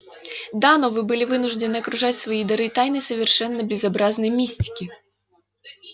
да но вы были вынуждены окружать свои дары тайной совершенно безобразной мистики